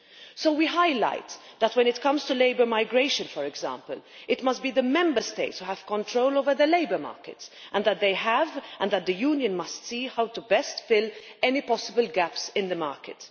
So we highlight that when it comes to labour migration, for example, it must be the Member States who have control over the labour market, and that they and the Union must see how best to fill any possible gaps in the market.